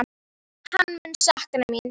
Hann mun sakna mín.